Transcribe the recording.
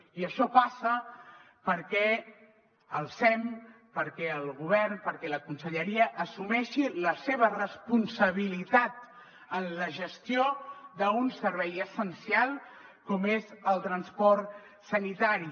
i això passa perquè el sem perquè el govern perquè la conselleria assumeixin la seva responsabilitat en la gestió d’un servei essencial com és el transport sanitari